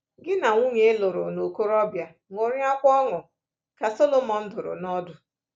Gi na nwunye ị lụrụ n’okorobia ṅụrịakwa ọṅụ,” ka Solomọn dụrụ n’ọdụ.